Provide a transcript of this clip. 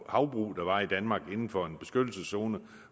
havbrug der var i danmark inden for en beskyttelseszone